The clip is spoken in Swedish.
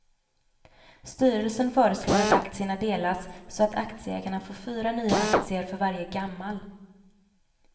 Styrelsen föreslår att aktierna delas så att aktieägarna får fyra nya aktier för varje gammal.